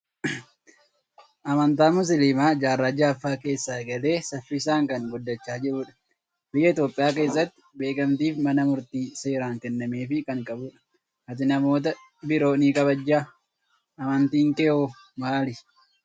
Amantaan musliimaa jaarraa ja'affaa keessa eegalee saffisaan kan guddachaa jiru dha. Biyya Itoophiyaa keessatti beekamtii fi mana murtii seeraan kennameefii kan qabu dha. Ati namoota biroo ni kabajjaa? Amantiin kee hoo maali?